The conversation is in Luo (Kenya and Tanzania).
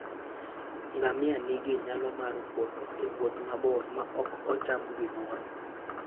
Ngamia nigi nyalo mar wuotho e wuoth mabor maok ocham gimoro.